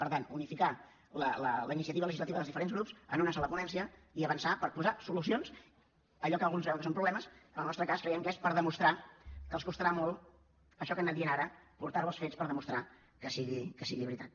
per tant unificar la iniciativa legislativa dels diferents grups en una sola ponència i avançar per posar solucions a allò que alguns veuen que són problemes en el nostre cas creiem que és per demostrar que els costarà molt això que han anat dient ara portar ho als fets per demostrar que sigui veritat